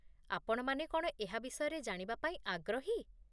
ଆପଣମାନେ କ'ଣ ଏହା ବିଷୟରେ ଜାଣିବାପାଇଁ ଆଗ୍ରହୀ?